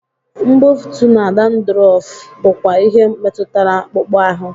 Mbufụt na dandruff bụkwa ihe metụtara akpụkpọ ahụ